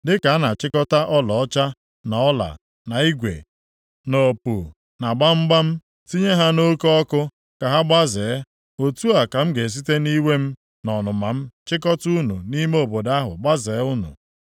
Dịka a na-achịkọta ọlaọcha, na ọla, na igwe, na opu, na gbamgbam, tinye ha nʼoke ọkụ ka ha gbazee, otu a ka m ga-esite nʼiwe m na ọnụma m chịkọtaa unu nʼime obodo ahụ gbazee unu.